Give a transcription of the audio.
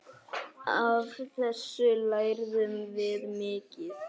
Af þessu lærðum við mikið.